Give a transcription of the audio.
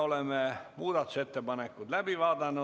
Selle päevakorrapunkti käsitlemine on ammendatud ja istung on lõppenud.